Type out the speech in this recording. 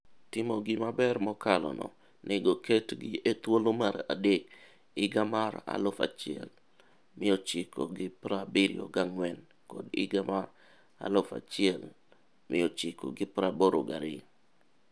Timo gi maber mokalo no nego ketgi e thuolo mar adek higa mar 1974 kod 1982.